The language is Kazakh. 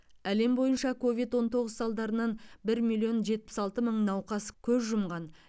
әлем бойынша ковид он тоғыз салдарынан бір миллион жетпіс алты мың науқас көз жұмған